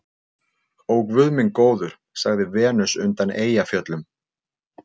Ó, guð minn góður, sagði Venus undan Eyjafjöllum.